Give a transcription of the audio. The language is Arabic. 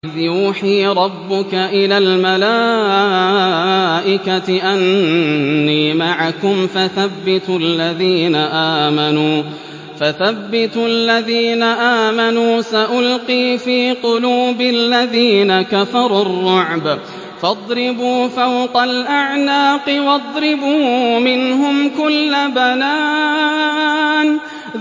إِذْ يُوحِي رَبُّكَ إِلَى الْمَلَائِكَةِ أَنِّي مَعَكُمْ فَثَبِّتُوا الَّذِينَ آمَنُوا ۚ سَأُلْقِي فِي قُلُوبِ الَّذِينَ كَفَرُوا الرُّعْبَ فَاضْرِبُوا فَوْقَ الْأَعْنَاقِ وَاضْرِبُوا مِنْهُمْ كُلَّ بَنَانٍ